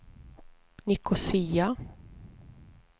Nicosia